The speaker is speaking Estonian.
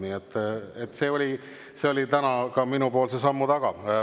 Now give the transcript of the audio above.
Nii et see oli täna minu sammu taga.